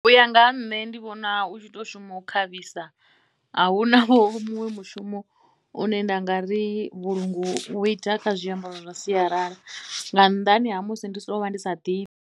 U ya nga ha nṋe ndi vhona u tshi tou shuma u khavhisa, a hu na vho muṅwe mushumo une nda nga ri vhulungu vhu ita kha zwiambaro zwa sialala nga nnḓani ha musi ndi sokou vha ndi sa ḓivhi.